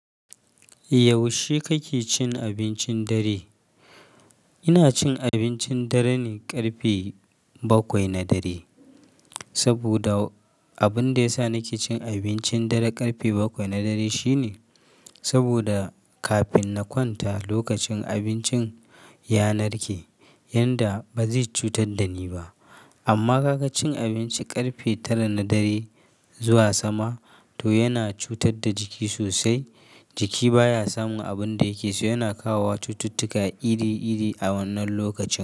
Yaushe kake cin abincin dare? Ina cin abincin dare ne ƙarfe bakwai na dare, saboda abin da ya sa nake cin abincin dare ƙarfe bakwai na dare shine sabida kafin na kwanta lokacin abincin ya narke yanda bazai cutar da ni ba. Amma ka ga cin abinci ƙarfe tara na dare zuwa sama to yana cutar da jiki sosai. Jiki baya samun abun da yake so, yana kawo wa cututtuka iri-iri a wannan lokaci.